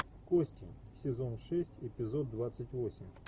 кости сезон шесть эпизод двадцать восемь